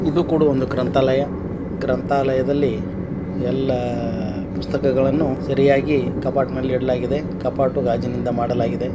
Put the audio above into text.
ಇದು ಕೂಡ ಒಂದು ಗ್ರಂಥಾಲಯ ಗ್ರಂಥಾಲಯದಲ್ಲಿ ಎಲ್ಲ ಪುಸ್ತಕಗಳನ್ನು ಸರಿಯಾಗಿ ಕಪಾಟಿನಲ್ಲಿ ಇಡಲಾಗಿದೆ ಕಪಾಟನ್ನು ಗಾಜಿನಿಂದ ಮಾಡಲಾಗಿದೆ.